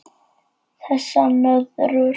Þessar nöðrur!